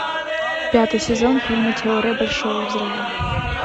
пятый сезон фильма теория большого взрыва